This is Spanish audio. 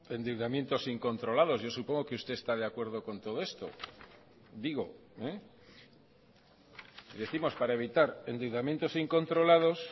endeudamientos incontrolados yo supongo que usted está de acuerdo con todo esto digo décimos para evitar endeudamientos incontrolados